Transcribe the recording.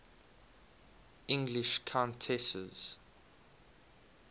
english countesses